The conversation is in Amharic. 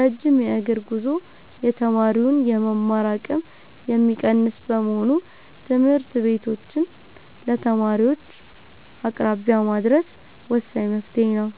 ረጅም የእግር ጉዞ የተማሪውን የመማር አቅም የሚቀንስ በመሆኑ ትምህርት ቤቶችን ለተማሪዎች አቅራቢያ ማድረስ ወሳኝ መፍትሔ ነው።